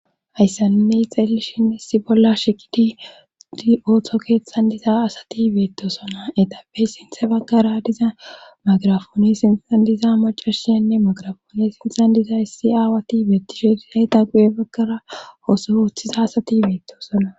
hayssanine xeellishin issi bolla shiqidi di ooththo keeththan diza asati beettosona eqapey sinthe baggara diza magrafoone sintan diza macashiyanne magirafoone sinthan diza issi aawati beettishe dizay ta gu7e baggara oso oooththiza asati beettosona